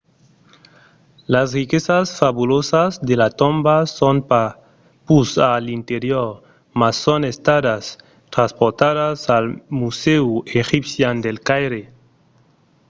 las riquesas fabulosas de la tomba son pas pus a l'interior mas son estadas transportadas al musèu egipcian del caire